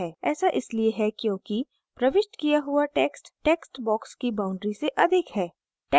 ऐसा इसलिए है क्योंकि प्रविष्ट किया हुआ text text box की boundaries से अधिक है